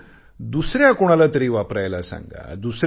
मात्र दुसऱ्या कुणालातरी वापरायला सांगा